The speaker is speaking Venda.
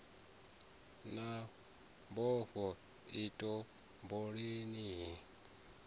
na mbofho i topoleni ni